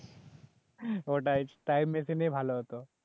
ওটাই time machine এই ভালো হতো